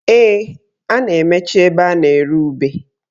Ee, a na-emechi ebe a na-ere ube